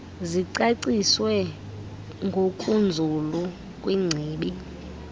zicaciswe ngokunzulu kwingcibi